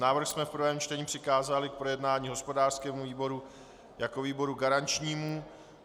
Návrh jsme v prvém čtení přikázali k projednání hospodářskému výboru jako výboru garančnímu.